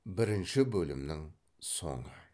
бірінші бөлімнің соңы